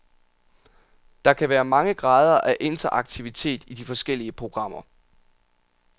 Der kan være mange grader af interaktivitet i de forskellige programmer.